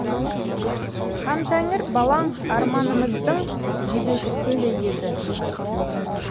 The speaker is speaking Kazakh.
хантәңір балаң арманымыздың жебеушісіндей еді